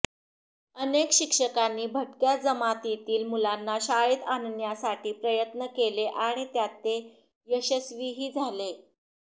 अनेक शिक्षकांनी भटक्या जमातींतील मुलांना शाळेत आणण्यासाठी प्रयत्न केले आणि त्यात ते यशस्वीही झाले